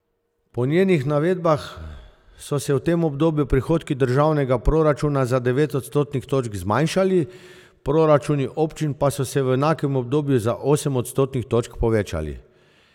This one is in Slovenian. Po njenih navedbah so se v tem obdobju prihodki državnega proračuna za devet odstotnih točk zmanjšali, proračuni občin pa so se v enakem obdobju za osem odstotnih točk povečali.